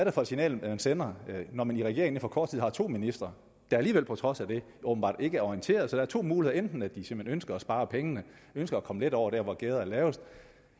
er for et signal man sender når man i regeringen inden for kort tid har to ministre der alligevel på trods af det åbenbart ikke er orienteret så der er to muligheder enten at de simpelt hen ønsker at spare pengene ønsker at komme let over der hvor gærdet er lavest